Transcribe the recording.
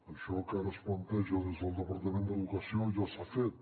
això que ara es planteja des del departament d’educació ja s’ha fet